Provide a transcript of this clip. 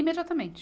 Imediatamente.